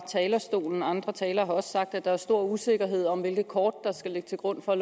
talerstolen andre talere har også sagt det at der er stor usikkerhed om hvilke kort der skal ligge til grund for